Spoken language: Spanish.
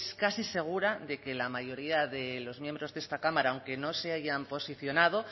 casi segura de que la mayoría de los miembros de esta cámara aunque no se hayan posicionado